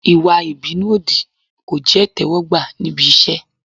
Ìwà ìbínú òdì kò jẹ́ ìtẹ́wọ́gbà níbi iṣẹ́.